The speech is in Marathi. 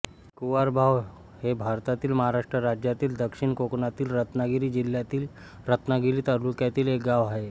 कुवारबाव हे भारतातील महाराष्ट्र राज्यातील दक्षिण कोकणातील रत्नागिरी जिल्ह्यातील रत्नागिरी तालुक्यातील एक गाव आहे